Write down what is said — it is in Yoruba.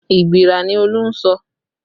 Igbira ni Olú ń sọ